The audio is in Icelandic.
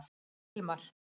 Hilmar